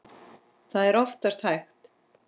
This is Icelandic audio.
Það er oftast hægt.